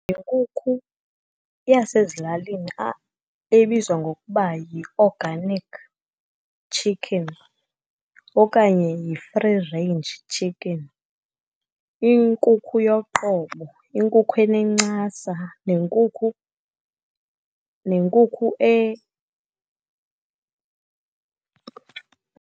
Yinkukhu yasezilalini ebizwa ngokuba yi-organic chicken okanye yi-free range chicken. Inkukhu yoqobo, inkukhu enencasa, nenkukhu, nenkukhu .